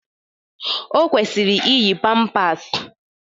Ọ kwụsịrị iyi pampers.